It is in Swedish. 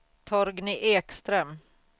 Torgny Ekström